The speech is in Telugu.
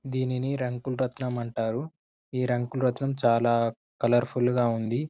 దీన్ని రంగులరాట్నం అంటారు రంగులరాట్నం చాలా కలర్ ఫుల్ గా ఉంది